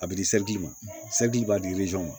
A bɛ di ma b'a di ma